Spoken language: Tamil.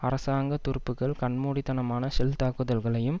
அரசாங்க துருப்புக்கள் கண் மூடித்தனமான ஷெல் தாக்குதல்களையும்